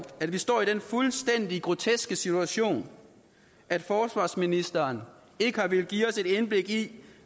at vi står i den fuldstændig groteske situation at forsvarsministeren ikke har villet give os et indblik i